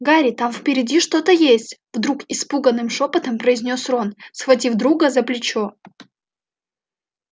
гарри там впереди что-то есть вдруг испуганным шёпотом произнёс рон схватив друга за плечо